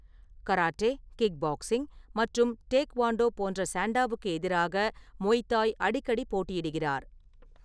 Karate, kick boxing மற்றும் taekwondo போன்ற சண்டாவுக்கு எதிராக மோய்தாய் தாய் அடிக்கடி போட்டியிடுகிறார்.